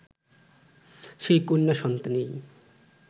সেই কন্যা সন্তানই